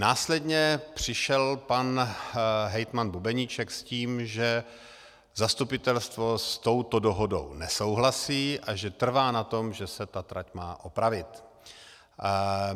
Následně přišel pan hejtman Bubeníček s tím, že zastupitelstvo s touto dohodou nesouhlasí a že trvá na tom, že se ta trať má opravit.